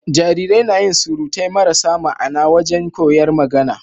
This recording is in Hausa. Jarirai nayin surutai marasa ma'Ana wajan koyar magAna